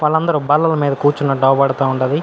వాళ్ళందరూ బల్లలు మీద కూర్చున్నట్టు అవుబడతా ఉండాది.